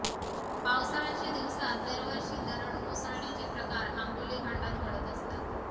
पावसाळ्याच्या दिवसात दरवर्षी दरड कोसळण्याचे प्रकार आंबोली घाटात घडत असतात